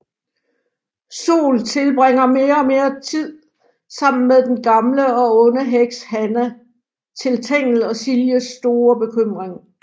Sol tilbringer mere og mere tid sammen med den gamle og onde heks Hanna til Tengel og Siljes store bekymring